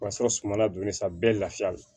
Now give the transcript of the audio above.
O y'a sɔrɔ sumala donnen sa bɛɛ lafiyalen